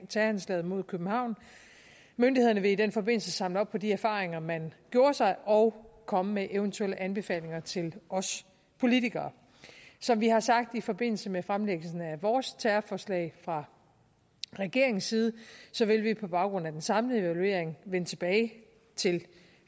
terroranslaget mod københavn myndighederne vil i den forbindelse samle op på de erfaringer man gjorde sig og komme med eventuelle anbefalinger til os politikere som vi har sagt i forbindelse med fremlæggelsen af vores terrorforslag fra regeringens side vil vi på baggrund af den samlede evaluering vende tilbage til